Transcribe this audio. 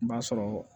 N b'a sɔrɔ